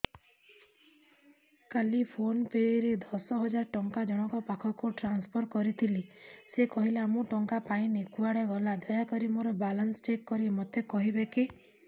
କାଲି ଫୋନ୍ ପେ ରେ ଦଶ ହଜାର ଟଙ୍କା ଜଣକ ପାଖକୁ ଟ୍ରାନ୍ସଫର୍ କରିଥିଲି ସେ କହିଲା ମୁଁ ଟଙ୍କା ପାଇନି କୁଆଡେ ଗଲା ଦୟାକରି ମୋର ବାଲାନ୍ସ ଚେକ୍ କରି ମୋତେ କହିବେ କି